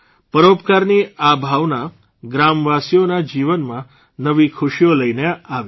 પરોપકારની આ ભાવના ગ્રામવાસીઓના જીવનમાં નવી ખુશીઓ લઇને આવી છે